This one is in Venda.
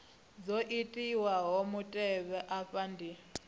dzo itiwaho mutevhe afha ndi